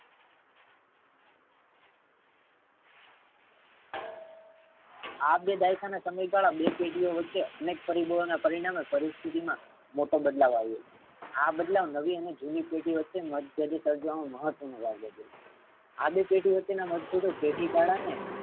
આ બે દાયિક ના સમયગાળા બે પેઢીયો વચ્ચે અનેક પરિબળો ના પરિણામે પરિસ્સ્થી માં મોટો બદલાવ આવ્યો છે. આ બદલાવ નવી અને જૂની પેઢી વચ્ચે મતભેદ સર્જવા મા મહત્વ નો ભાગ ભજવે છે. આ બે પેઢી વચ્ચે ના મતભેદો થી કાળા ને